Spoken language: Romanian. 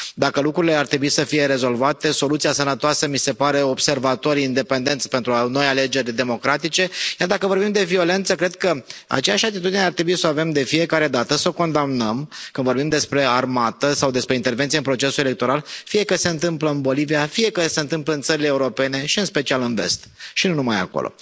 Dacă lucrurile ar trebui să fie rezolvate, soluția sănătoasă mi se pare observatori independenți pentru noi alegeri democratice, iar dacă vorbim de violență cred că aceeași atitudine ar trebui să o avem de fiecare dată, să o condamnăm, că vorbim despre armată sau despre intervenție în procesul electoral, fie că se întâmplă în Bolivia, fie că se întâmplă în țările europene și în special în Vest și nu numai acolo.